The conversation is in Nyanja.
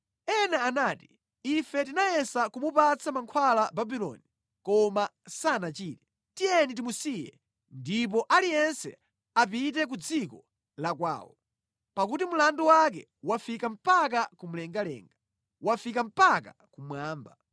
Ena anati, “ ‘Ife tinayesa kumupatsa mankhwala Babuloni, koma sanachire; tiyeni timusiye ndipo aliyense apite ku dziko la kwawo, pakuti mlandu wake wafika mpaka mlengalenga, wafika mpaka kumwamba.’